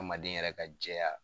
Adamaden yɛrɛ ka jɛya